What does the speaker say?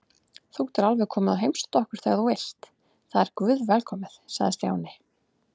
Þú getur alveg komið og heimsótt okkur þegar þú vilt, það er guðvelkomið sagði Stjáni.